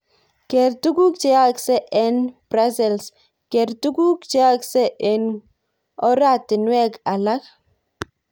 Ger tuguk cheyaakse eng Brussels, ger tuguuk cheyaakse eng koratinweg alak